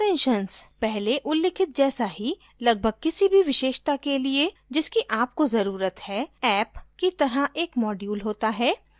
पहले उल्लिखित जैसा ही लगभग किसी भी विशेषता के लिए जिसकी आपको ज़रुरत है app की तरह एक module होता है